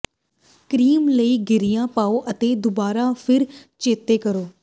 cream ਲਈ ਗਿਰੀਆਂ ਪਾਓ ਅਤੇ ਦੁਬਾਰਾ ਫਿਰ ਚੇਤੇ ਕਰੋ